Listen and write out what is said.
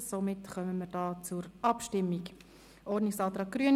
Somit kommen wir zur Abstimmung über den Ordnungsantrag Grüne: